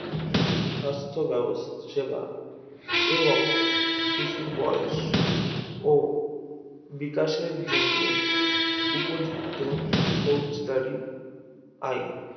সাস্থ্য বেবস্থ সেবা এবং শিশুর বয়স ও বিকাশের জন্য উপযুক্ত ফৌজদারি আইন